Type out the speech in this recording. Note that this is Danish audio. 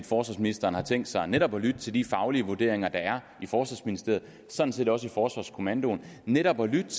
forsvarsministeren har tænkt sig netop at lytte til de faglige vurderinger der er i forsvarsministeriet og sådan set også i forsvarskommandoen netop at lytte